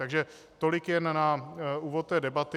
Takže tolik jen na úvod té debaty.